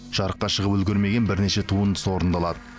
жарыққа шығып үлгермеген бірнеше туындысы орындалады